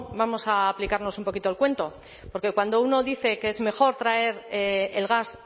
vamos a aplicarnos un poquito el cuento porque cuando uno dice que es mejor traer el gas